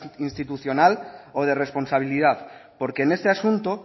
institucional o de responsabilidad porque en este asunto